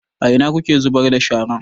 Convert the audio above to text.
A ina kuke zubar da shara?